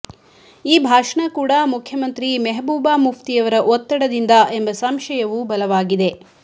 ಈ ಭಾಷಣ ಕೂಡಾ ಮುಖ್ಯಮಂತ್ರಿ ಮೆಹಬೂಬಾ ಮುಫ್ತಿಯವರ ಒತ್ತಡದಿಂದ ಎಂಬ ಸಂಶಯವೂ ಬಲವಾಗಿದೆ